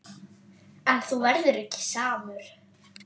En þú verður ekki samur.